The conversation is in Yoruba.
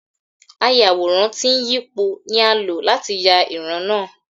Ayàwòrán tí ń yípo ni a lò láti yà ìran náà.